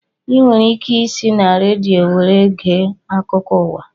Ị nwere ike isi na redio were gee akụkọ ụwa